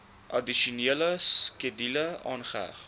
addisionele skedule aangeheg